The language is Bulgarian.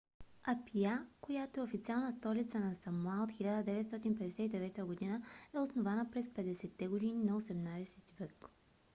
апия която е официална столица на самоа от 1959 г. е основана през 50-те години на 18-ти век